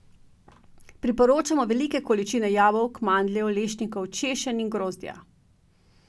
Priporočamo velike količine jabolk, mandljev, lešnikov, češenj in grozdja.